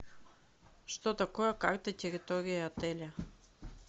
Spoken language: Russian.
что такое карта территории отеля